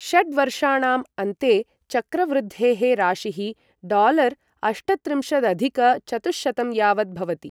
षड्वर्षाणाम् अन्ते चक्रवृद्धेः राशिः डालारअष्टत्रिंशदधिक चतुःशतं यावत् भवति।